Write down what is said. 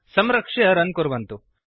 संरक्ष्य रन् कुर्वन्तु